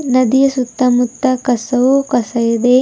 ನದಿಯ ಸುತ್ತಮುತ್ತ ಕಸವು ಕಸ ಇದೆ.